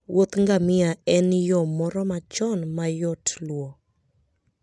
wuoth mar ngamia en yo moro machon ma yot luwo